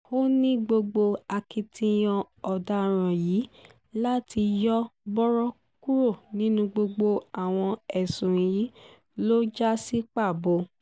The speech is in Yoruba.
ó ní gbogbo akitiyan ọ̀daràn yìí láti yọ̀ bọ̀rọ̀ kúrò nínú gbogbo àwọn ẹ̀sùn yìí ló já sí pàbó